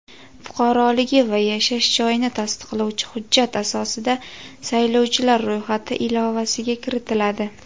fuqaroligi va yashash joyini tasdiqlovchi hujjat asosida saylovchilar ro‘yxati ilovasiga kiritiladi.